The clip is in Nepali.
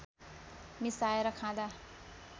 मिसाएर खाँदा